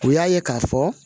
U y'a ye k'a fɔ